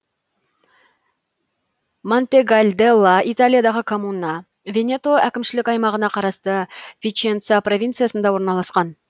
монтегальделла италиядағы коммуна венето әкімшілік аймағына қарасты виченца провинциясында орналасқан